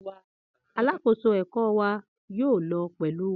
Alakoso ẹkọ wa yoo lọ pẹlu wa.